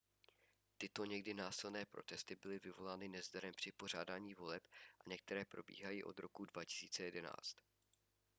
tyto někdy násilné protesty byly vyvolány nezdarem při pořádání voleb a některé probíhají od roku 2011